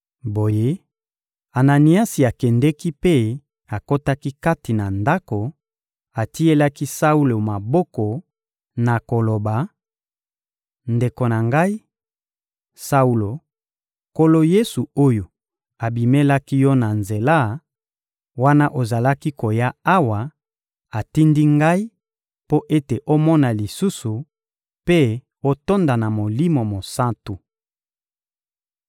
Boye, Ananiasi akendeki mpe akotaki kati na ndako; atielaki Saulo maboko na koloba: — Ndeko na ngai, Saulo; Nkolo Yesu oyo abimelaki yo na nzela, wana ozalaki koya awa, atindi ngai mpo ete omona lisusu mpe otonda na Molimo Mosantu.